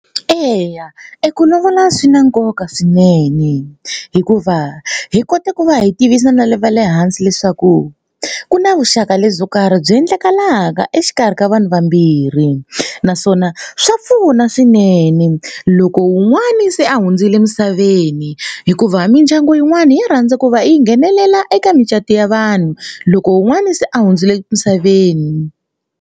Eya eku lovola swi na nkoka swinene hikuva hi kota ku va hi tivisa na le va le hansi leswaku ku na vuxaka lebyo karhi byi endlekalaka exikarhi ka vanhu vambirhi naswona swa pfuna swinene loko wun'wani se a hundzile emisaveni hikuva mindyangu yin'wana ya rhandza ku va yi nghenelela eka micato ya vanhu loko wun'wana se a hundzile emisaveni.